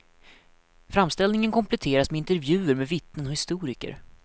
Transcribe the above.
Framställningen kompletteras med intervjuer med vittnen och historiker.